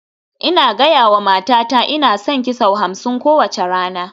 Ina gaya wa matata "Ina son ki" sau hamsin kowace rana